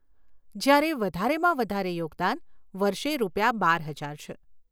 જ્યારે વધારેમાં વધારે યોગદાન વર્ષે રૂપિયા બાર હજાર છે.